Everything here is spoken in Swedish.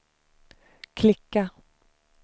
klicka